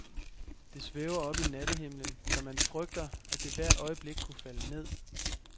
Det svæver oppe i nattehimlen, så man frygter, at det hvert øjeblik kunne falde ned.